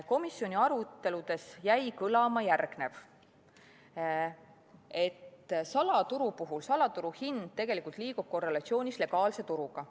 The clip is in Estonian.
Komisjoni aruteludes jäi kõlama, et salaturu puhul salaturuhind liigub tegelikult korrelatsioonis legaalse turu hinnaga.